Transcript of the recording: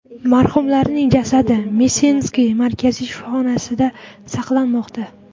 Marhumlarning jasadi Msensk markaziy shifoxonasida saqlanmoqda.